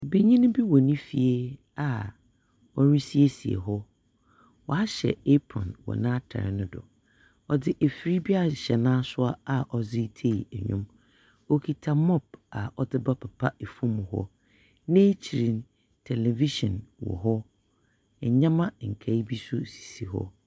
Benyin bi wɔ ne fie a ɔresiesie hɔ. Wɔahyɛ apron wɔ n'atar no so. Ɔdze efir bi ahyɛ n'asowa a ɔdze ritsei ndwom. Okita mob a ɔdze rebɛpepa famu hɔ. N'ekyir no, television wɔn hɔ. Ndzɛmba nkae bi nso si hɔ.